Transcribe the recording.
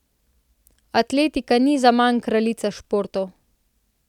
Atletika ni zaman kraljica športov.